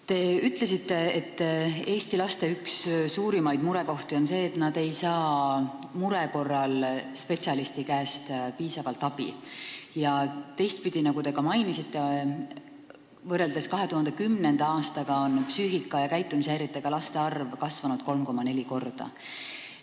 Te ütlesite, et Eesti laste üks suurimaid murekohti on see, et nad ei saa mure korral spetsialisti käest piisavalt abi, ja teistpidi, nagu te ka mainisite, on võrreldes 2010. aastaga psüühika- ja käitumishäiretega laste arv 3,4 korda kasvanud.